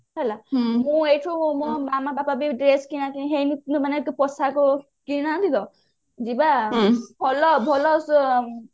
ହେଲା ମୁଁ ଏଇଠୁ ମୋ ମାମା ବାପା ବି dress କିଣା କିଣି ହେଇନଥିଲେ ମାନେ ପୋଷାକ କିଣିନାହାନ୍ତି ତ ଯିବା ଆଉ ଭଲ ଭଲ